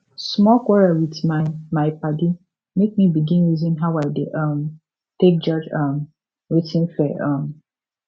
small quarrel with my my padi make me begin reason how i dey um take judge um wetin fair um